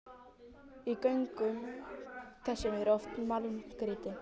Í göngum þessum er oft málmgrýti.